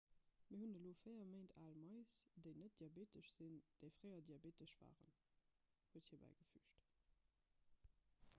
mir hunn elo 4 méint al mais déi net diabeetesch sinn déi fréier diabeetesch waren huet hie bäigefüügt